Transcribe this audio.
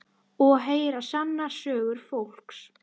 Og heyra sannar sögur fólks.